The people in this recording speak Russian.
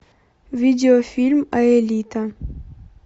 видео фильм аэлита